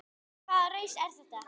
Hvaða raus er þetta?